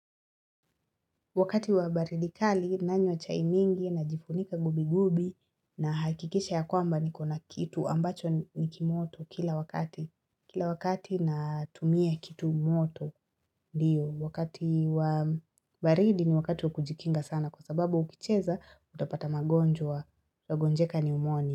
Wakati wa baridi kali nanywa chai mingi najifunika gubi gubi nahakikisha ya kwamba nikona kitu ambacho nikimoto kila wakati. Kila wakati natumia kitu moto Ndio wakati wa baridi ni wakati wa kujikinga sana kwa sababu ukicheza utapata magonjwa utagonjeka ni pneumonia.